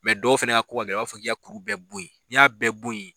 dɔw fana ka ko ka gɛlɛn u b'a fɔ k'i ka kuru bɛɛ boyi n'i y'a bɛɛ boyi.